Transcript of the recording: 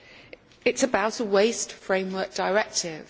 It is about a Waste Framework Directive.